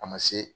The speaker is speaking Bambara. A ma se